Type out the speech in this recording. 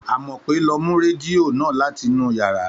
Àmọ́pé lọ mú rẹdìo ó na látinú yàrá.